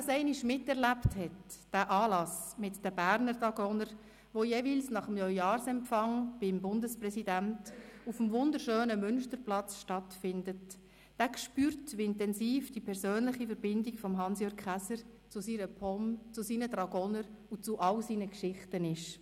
Wer den Anlass mit den Berner Dragonern, der jeweils nach dem Neujahrsempfang beim Bundespräsidenten auf dem wunderschönen Münsterplatz stattfindet, einmal miterlebt hat, spürt, wie intensiv die persönliche Verbindung von Hans-Jürg Käser zu seiner POM, zu seinen Dragonern und zu all seinen Geschichten ist.